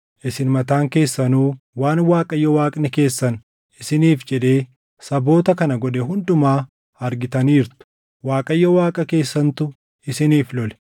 Isin mataan keessanuu waan Waaqayyo Waaqni keessan isiniif jedhee saboota kana godhe hundumaa argitaniirtu; Waaqayyo Waaqa keessantu isiniif lole.